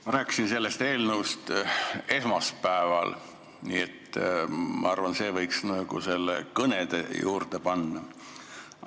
Ma rääkisin sellest eelnõust esmaspäeval ja ma arvan, et selle võiks nagu kõnede juurde panna.